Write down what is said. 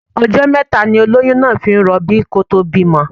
Ọjọ́ mẹ́ta ni olóyún náà fi ń rọbí kó tó bímọ.